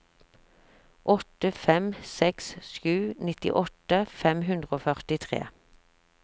åtte fem seks sju nittiåtte fem hundre og førtitre